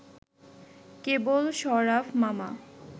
কেবল শরাফ মামা